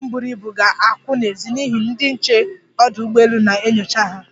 Ndị njem buru ibu ga-akwụ n'ezi n'ihi ndị nche ọdụ ugbọelu na-enyocha ha.